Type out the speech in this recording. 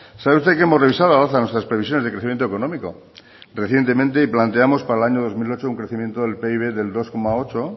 sabe usted que hemos revisado al alza nuestras previsiones de crecimiento económico recientemente y planteamos para el año dos mil dieciocho un crecimiento del pib del dos coma ocho